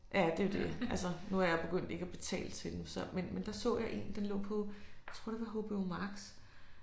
Ja det jo det altså nu er jeg begyndt ikke at betale til dem så men men der så jeg en den lå på jeg tror det var HBO Max